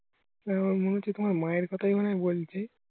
আমার মনেহচ্ছে তোমার মায়ের কোথায় বলছে